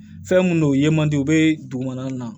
Fɛn mun don u ye man di u bɛ dugumana na